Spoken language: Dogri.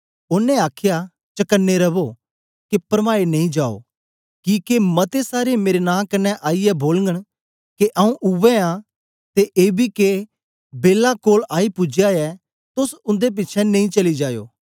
ओनें आखया चकने रवो के परमाए नेई जायो किके मते सारे मेरे नां कन्ने आईयै बोलगन के आऊँ उवै आं ते एबी के बेला कोल आई पूजया ऐ तोस उन्दे पिछें नेई चली जायो